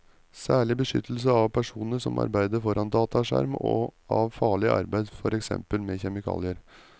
Særlig beskyttelse av personer som arbeider foran dataskjerm og av farlig arbeid, for eksempel med kjemikalier.